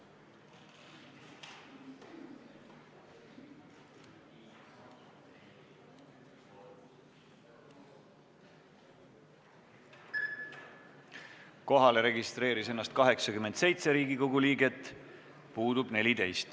Kohaloleku kontroll Kohalolijaks registreeris ennast 87 Riigikogu liiget, puudub 14.